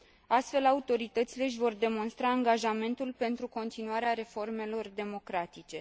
Astfel, autoritățile își vor demonstra angajamentul pentru continuarea reformelor democratice.